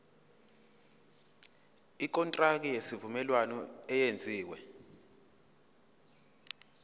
ikontraki yesivumelwano eyenziwe